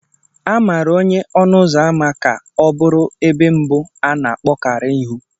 A maara onye ọnụ ụzọ ámá ka ọ bụrụ ebe mbụ a na-akpọkarị ịhụ